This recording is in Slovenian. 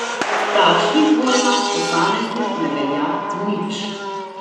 V takšnih vojnah posameznik ne velja nič.